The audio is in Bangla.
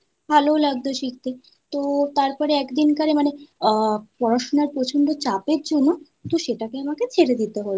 ভালউ লাগত শিখতে। তো তার পরে একদিন কারে আ মানে পড়াশোনার প্রচণ্ড চাপের জন্য তো সেটাকে আমাকে ছেড়ে দিতে হল। তো ছাড়তে ইচ্ছে একদমই করছিল না কিন্তু পড়াশোনার চাপে পড়ে ছেড়ে দিতে হল।